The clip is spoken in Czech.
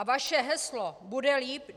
A vaše heslo Bude líp!